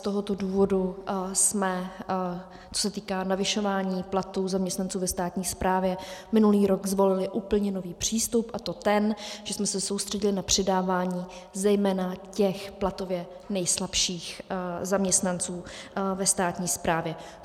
Z tohoto důvodu jsme, co se týká navyšování platů zaměstnanců ve státní správě, minulý rok zvolili úplně nový přístup, a to ten, že jsme se soustředili na přidávání zejména těch platově nejslabších zaměstnanců ve státní správě.